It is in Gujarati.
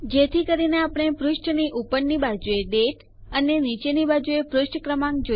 જેથી કરીને આપણે પુષ્ઠની ઉપરની બાજુએ દાતે જોઈ શકીએ અને નીચેની બાજુએ પુષ્ઠ ક્રમાંક